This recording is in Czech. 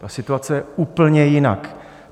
Ta situace je úplně jinak.